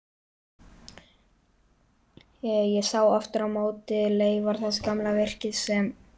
Ég sá aftur á móti leifar þess gamla virkis sem